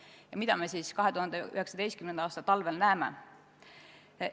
Ja mida me siis 2019. aasta talvel näeme?